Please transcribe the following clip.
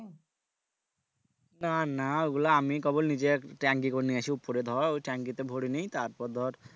না না ওগুলো আমি কেবল নিজে tank ই করে নিয়েছি ওপরে ধর ওই tank ই তে ভরে নি তারপর ধর